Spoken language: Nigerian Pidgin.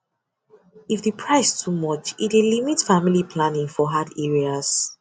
if the price too much e dey limit family planning for hard areas